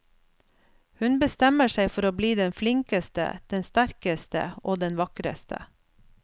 Hun bestemmer seg for å bli den flinkeste, den sterkeste og den vakreste.